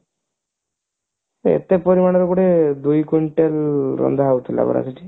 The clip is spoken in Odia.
ଏତେ ପରିମାଣରେ ମାନେ ଦୁଇ quintal ରନ୍ଧା ହେଉଥିଲା ପରା ସେଠି